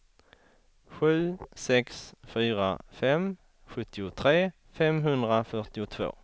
sju sex fyra fem sjuttiotre femhundrafyrtiotvå